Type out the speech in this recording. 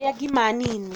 Rĩa ngima nini